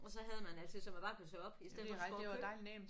Og så havde man altid så man bare kunne tø op i stedet for du skulle over og købe